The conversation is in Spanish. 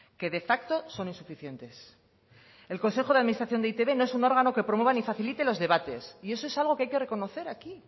que de facto son insuficientes el consejo de administración de e i te be no es un órgano que promueva ni facilite los debates y eso es algo que hay que reconocer aquí